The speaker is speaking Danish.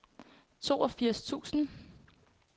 toogfirs tusind